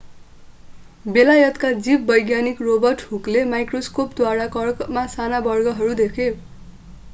बेलायतका जीववैज्ञानिक रोबर्ट हुकले माइक्रोस्कोपद्वारा कर्कमा साना वर्गहरू देखे